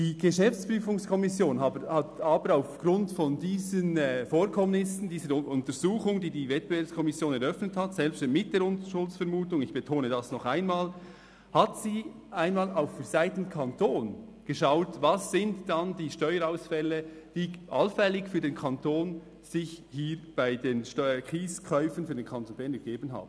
Die GPK hat aber aufgrund dieser Vorkommnisse – dieser Untersuchung, die die WEKO eröffnet hat, selbst mit der Unschuldsvermutung, ich betone das noch einmal – auch für die Seite des Kantons geschaut, welches die Steuerzahlerausfälle sind, die sich hier allenfalls für den Kanton bei den Kieskäufen für den Kanton Bern ergeben haben.